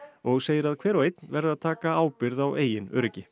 og segir að hver og einn verði að taka ábyrgð á eigin öryggi